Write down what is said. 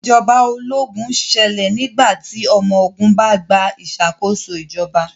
Ìjọba ológun ṣẹlẹ̀ nígbà tí ọmọ ogun bá gba ìṣàkóso ìjọba